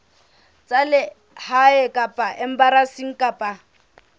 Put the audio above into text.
tsa lehae kapa embasing kapa